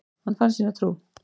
Hann fann sína trú.